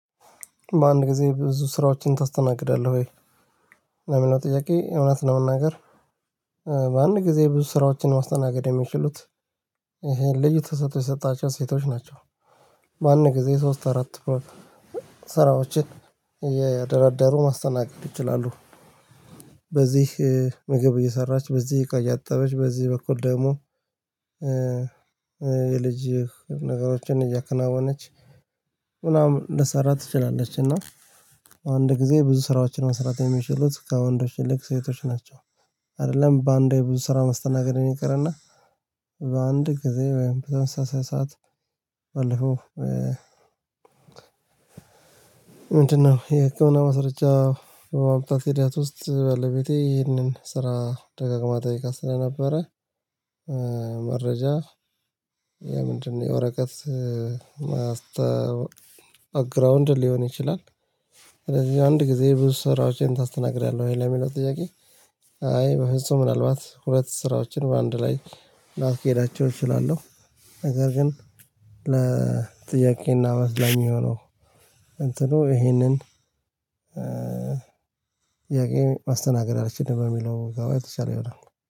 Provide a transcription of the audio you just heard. በአንድ ጊዜ ብዙ ስራዎችን ታስተናግዳለህ ወይ? ለሚለው ጥያቄ እውነት ለመናገር በአንድ ጊዜ ብዙ ስራዎችን ማስተናገድ የሚችሉት ይሄን ልዩ ተሰጦ የተሰጣቸው ሴቶች ናቸው። በአንድ ጊዜ ሶስት አራት ስራዎችን እየደረደሩ ማስተናገድ ይችላሉ። በዚህ ምግብ እየሰራች በዚህ እቃ እያጠበች በዚህ በኩል ደግሞ የልጅ ነገሮችን እያከናወነች ምናምን ልሰራ ትችላለች። እና አንድ ጊዜ ብዙ ስራዎችን መስራት የሚችሉት ከወንዶች ይልቅ ሴቶች ናቸው። አይደለም በአንዴ የብዙ ስራ መስተናገድ ነው። ይቅርና በአንድ ጊዜ በአንድ ሰዓት ባለፈው ምንድነው? የህክምና ማስረርጃ በማምጣት ሂደት ውስጥ ባለቤቴ ይህንን ስራ ደጋግማ ጠይቃ ስለነበረ። መረጃ የምንድነው የወረቀት ማስታወቂያ ባግራውንድ ሊሆን ይችላል። ስለዚህ አንድ ጊዜ ብዙ ስራዎችን ታስተናግዳለህ ወይ የሚለው ጥያቄ? አይ በፍጹም ምናልባት ሁለት ስራዎችን በአንድ ላይ ላስኬዳቸው እችላለሁ። ነገር ግን ለጥያቄና መልስ ለሚሆነው እንትኑ ይሄንን ጥያቄ ማስተናገድ አልችልም። በሚለው ጋባ የተቻለ ይሆናል